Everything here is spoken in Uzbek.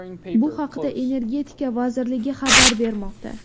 Bu haqda Energetika vazirligi xabar bermoqda .